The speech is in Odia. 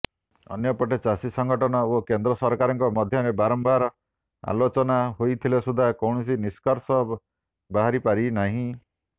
ଅନ୍ୟପଟେ ଚାଷୀ ସଂଗଠନ ଓ କେନ୍ଦ୍ର ସରକାରଙ୍କ ମଧ୍ୟରେ ବାରମ୍ବାର ଆଲୋଚନା ହୋଇଥିଲେ ସୁଦ୍ଧା କୌଣସି ନିଷ୍କର୍ସ ବାହାରିପାରିନାହିଁ